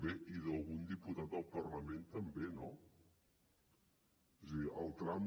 bé i d’algun diputat del parlament també no és a dir el tram